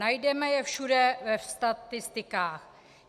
Najdeme je všude ve statistikách.